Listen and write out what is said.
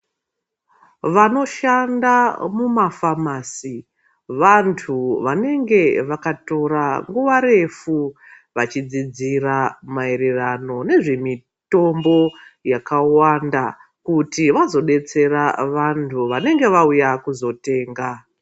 Vanoshanda mumafamasi vantu vanenge vakatora nguva refu vachidzidzira maererano ngezvemitombo yakawanda kuti vazodetsera vantu vanenge vauya kuzotenga.